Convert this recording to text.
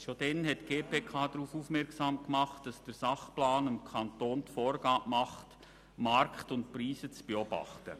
Schon damals hat die GPK darauf hingewiesen, dass der Sachplan dem Kanton die Vorgabe macht, Markt und Preise zu beobachten.